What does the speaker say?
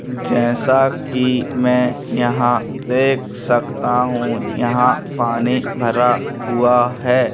जैसा कि मैं यहां देख सकता हूं यहां पानी भरा हुआ है।